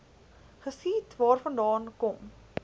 geskiet waarvandaan kom